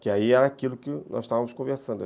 Que aí era aquilo que nós estávamos conversando.